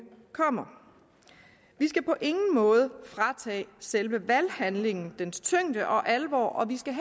kommer vi skal på ingen måde fratage selve valghandlingen dens tyngde og alvor og vi skal